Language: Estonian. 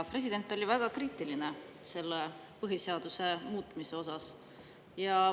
President oli väga kriitiline põhiseaduse muutmise suhtes.